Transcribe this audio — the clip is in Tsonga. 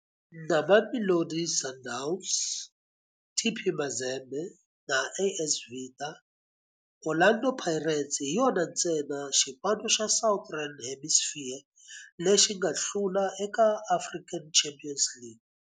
Na Mamelodi Sundowns, TP Mazembe na AS Vita, Orlando Pirates hi yona ntsena xipano xa Southern Hemisphere lexi nga hlula eka African Champions League.